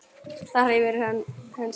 Þá hreyfir hann hönd sína.